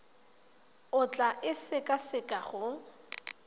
o tla e sekaseka go